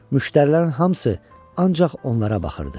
Müştərilərin hamısı ancaq onlara baxırdı.